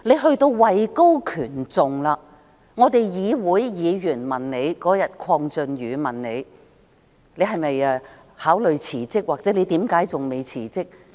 她位高權重，當天鄺俊宇議員問她是否考慮辭職，或為何還未辭職？